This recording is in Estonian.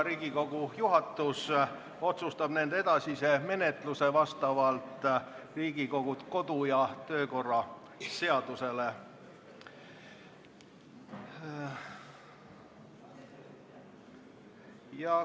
Riigikogu juhatus otsustab nende edasise menetluse vastavalt Riigikogu kodu- ja töökorra seadusele.